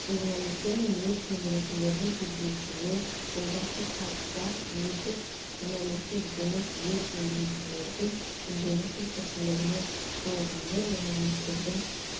журналистер мен өрт сөндірушілердің кездесуі жолдастық қалыпта өтіп журналистер жұмысы өрт сөндірушілердің күнделікті тіршілігімен жалғанды журналистердің